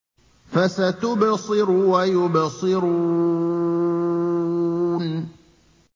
فَسَتُبْصِرُ وَيُبْصِرُونَ